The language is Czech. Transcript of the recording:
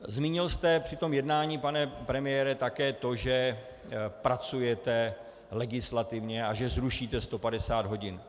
Zmínil jste při tom jednání, pane premiére, také to, že pracujete legislativně a že zrušíte 150 hodin.